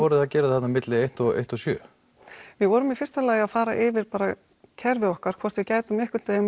að gera þarna á milli eins og sjö við vorum í fyrsta lagi bara að fara yfir kerfið okkar hvort við gætum einhvern veginn